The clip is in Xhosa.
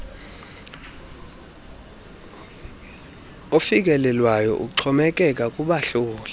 ofikelelwayo uxhomekeka kubahloli